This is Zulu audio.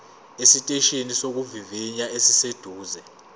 esiteshini sokuvivinya esiseduze